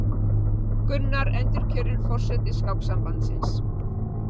Gunnar endurkjörinn forseti Skáksambandsins